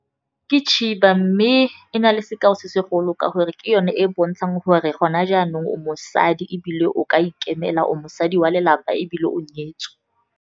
Ke tshiba, mme e na le sekao se se golo ka gore ke yone e e bontshang gore gona jaanong o mosadi ebile o ka ikemela, o mosadi wa lelapa ebile o nyetswe.